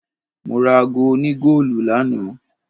Mora aago òní goolu lánàá.